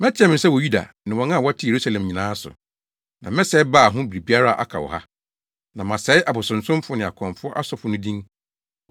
“Mɛteɛ me nsa wɔ Yuda ne wɔn a wɔte Yerusalem nyinaa so; na mɛsɛe Baal ho biribiara a aka wɔ ha, na masɛe abosonsomfo ne akɔmfo asɔfo no din